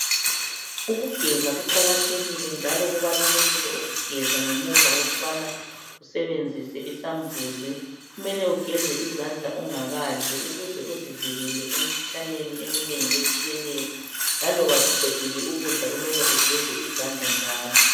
Ukugeza kuqakathekile njalo kubalulekile ukugeza ngemuva kokubana usebenzise isambuzi .Kumele ugeze izandla ungakadli ukuze uzivikele emikhuhlaneni eminengi etshiyeneyo. Laloba suqedile ukudla kumele ugeze izandla njalo.